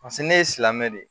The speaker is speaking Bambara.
Paseke ne ye silamɛ de